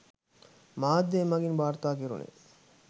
මාධ්‍ය මගින් වාර්තා කෙරුණේ.